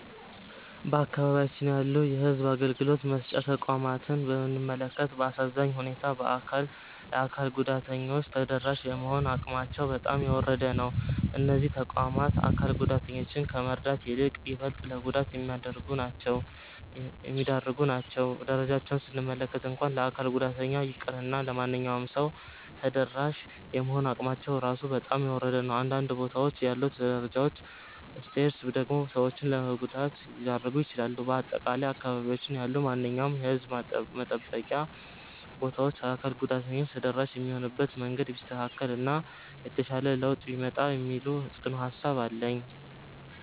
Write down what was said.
በአካባቢያችን ያሉ የሕዝብ አገልግሎት መስጫ ተቋማትን ብንመለከት፣ በአሳዛኝ ሁኔታ ለአካል ጉዳተኞች ተደራሽ የመሆን አቅማቸው በጣም የወረደ ነው። እነዚህ ተቋማት አካል ጉዳተኞችን ከመርዳት ይልቅ ይበልጥ ለጉዳት የሚዳርጉ ናቸው። ደረጃቸውን ስንመለከት እንኳን ለአካል ጉዳተኛ ይቅርና ለማንኛውም ሰው ተደራሽ የመሆን አቅማቸው ራሱ በጣም የወረደ ነው። በአንዳንድ ቦታዎች ያሉት ደረጃዎች (Stairs) ደግሞ ሰዎችን ለጉዳት ሊዳርጉ ይችላሉ። በአጠቃላይ በአካባቢያችን ያሉ ማንኛውም የሕዝብ መጠበቂያ ቦታዎች ለአካል ጉዳተኞች ተደራሽ የሚሆኑበት መንገድ ቢስተካከል እና የተሻለ ለውጥ ቢመጣ የሚል ጽኑ ሃሳብ አለኝ።